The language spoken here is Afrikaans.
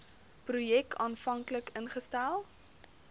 projek aanvanklik ingestel